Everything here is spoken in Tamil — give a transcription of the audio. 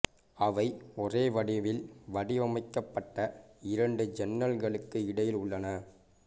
அவை ஒரே வடிவில் வடிவமைக்கப்பட்ட இரண்டு ஜன்னல்களுக்கு இடையில் உள்ளன